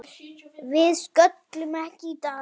Við sköllum ekki í dag!